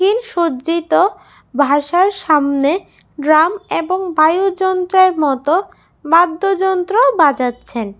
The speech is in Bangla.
এই সজ্জিত ভাষার সামনে ড্রাম এবং বায়ু যন্ত্রের মতো বাদ্য যন্ত্র বাজাচ্ছেন।